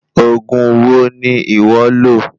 Òògùn wo ni iwọ lo?